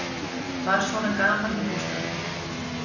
Var svona gaman í bústaðnum?